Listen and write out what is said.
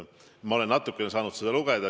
Ma olen saanud seda natuke lugeda.